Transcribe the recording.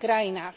krajinách.